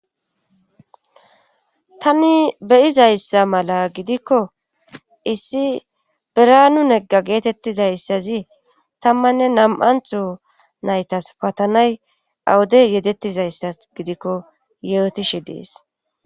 tani beyizayssa mala gidikko issi biranu negga geetettidayssazi tammanne nam7antho naytas patanay awude yedettizayssas gidikko yeetishe dees